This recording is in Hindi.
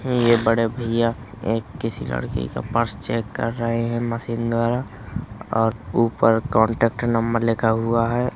ये बड़े भैया एक किसी लड़की का पर्स चेक कर रहे है। मशीन द्वारा और ऊपर कांटेक्ट नंबर लिखा हुआ है।